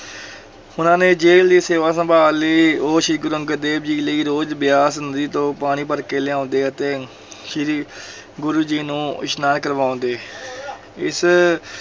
ਉਨ੍ਹਾਂ ਨੇ ਜਲ ਦੀ ਸੇਵਾ ਸੰਭਾਲ ਲਈ, ਉਹ ਸ੍ਰੀ ਗੁਰੂ ਅੰਗਦ ਦੇਵ ਜੀ ਲਈ ਰੋਜ਼ ਬਿਆਸ ਨਦੀ ਤੋਂ ਪਾਣੀ ਭਰ ਕੇ ਲਿਆਉਂਦੇ ਅਤੇ ਸ੍ਰੀ ਗੁਰੂ ਜੀ ਨੂੰ ਇਸਨਾਨ ਕਰਵਾਉਂਦੇ ਇਸ